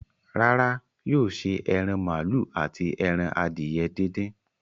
Rárá, yóò ṣe ẹran màálù àti ẹran adìye díndín.